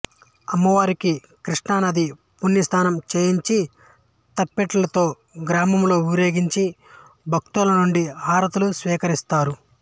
అమ్మవారికి కృష్ణానదీ పుణ్యస్నానం చేయించి తప్పెట్లతో గ్రామంలో ఊరేగించి భక్తుల నుండి హారతులు స్వీకరించారు